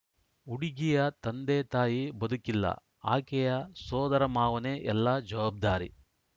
ಹುಡುಗಿಯ ತಂದೆತಾಯಿ ಬದುಕಿಲ್ಲ ಆಕೆಯ ಸೋದರಮಾವನೆ ಎಲ್ಲಾ ಜವಾಬ್ದಾರಿ